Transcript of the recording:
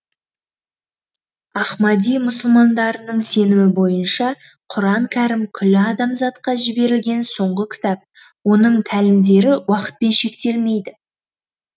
ахмади мұсылмандарының сенімі бойынша құран кәрім күллі адамзатқа жіберілген соңғы кітап оның тәлімдері уақытпен шектелмейді